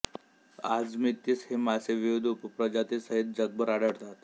आजमितीस हे मासे विविध उपप्रजाती सहित जगभर आढळतात